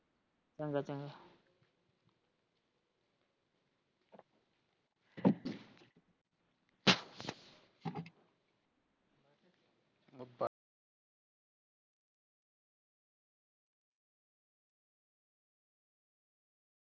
ਚੰਗਾ ਚੰਗਾ।